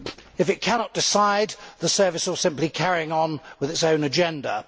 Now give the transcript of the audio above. If it cannot decide, the service will simply be carrying on with its own agenda.